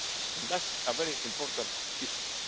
elections, and that's a very important